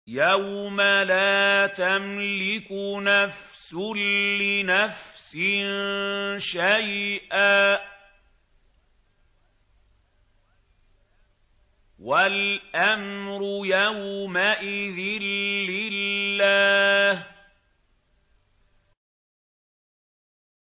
يَوْمَ لَا تَمْلِكُ نَفْسٌ لِّنَفْسٍ شَيْئًا ۖ وَالْأَمْرُ يَوْمَئِذٍ لِّلَّهِ